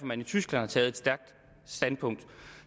man i tyskland har taget et stærkt standpunkt